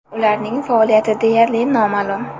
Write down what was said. Ularning faoliyati deyarli noma’lum.